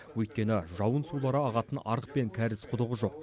өйткені жауын сулары ағатын арық пен кәріз құдығы жоқ